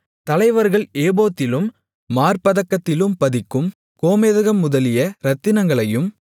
தலைவர்கள் ஏபோத்திலும் மார்ப்பதக்கத்திலும் பதிக்கும் கோமேதகம் முதலிய இரத்தினங்களையும்